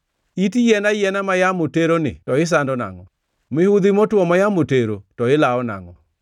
It yien ayiena ma yamo teroni to isando nangʼo? Mihudhi motwo ma yamo tero, to ilawo nangʼo?